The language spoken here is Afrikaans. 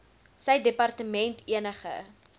sy departement enige